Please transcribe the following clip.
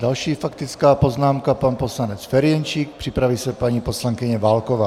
Další faktická poznámka, pan poslanec Ferjenčík, připraví se paní poslankyně Válková.